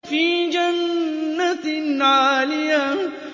فِي جَنَّةٍ عَالِيَةٍ